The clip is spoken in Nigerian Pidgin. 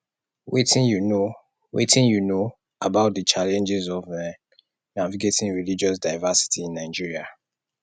wetin you know wetin you know about di challenges of um navigating religious diversity in nigeria